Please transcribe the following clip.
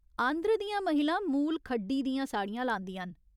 आंध्र दियां महिलां मूल खड्ढी दियां साड़ियां लांदियां न।